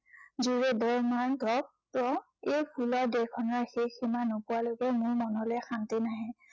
কিয়, এই ফুলৰ দেশখনৰ শেষ সীমা নোপোৱালৈকে মোৰ মনলে শান্তি নাহে।